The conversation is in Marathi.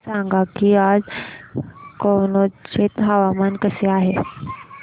मला सांगा की आज कनौज चे हवामान कसे आहे